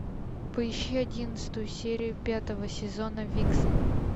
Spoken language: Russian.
поищи одиннадцатую серию пятого сезона виксен